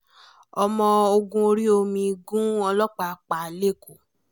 ọmọ ogun orí omi gun ọlọ́pàá pa lẹ́kọ̀ọ́